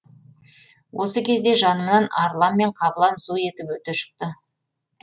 осы кезде жанымнан арлан мен қабылан зу етіп өте шықты